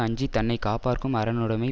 அஞ்சி தன்னை காப்பார்க்கும் அரணுடைமை